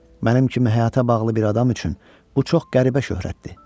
Mənim kimi həyata bağlı bir adam üçün bu çox qəribə şöhrətdir.